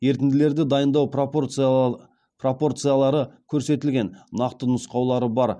ерітінділерді дайындау пропорциялары көрсетілген нақты нұсқаулары бар